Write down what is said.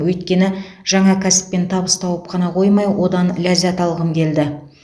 өйткені жаңа кәсіппен табыс тауып қана қоймай одан ләззат алғым келді